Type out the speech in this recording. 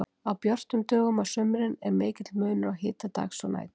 Á björtum dögum á sumrin er mikill munur á hita dags og nætur.